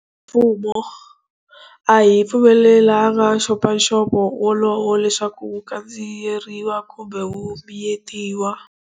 Mfumo a hi pfumelelanga nxopanxopo wolowo leswaku wu kandziyeriwa kumbe wu miyetiwa.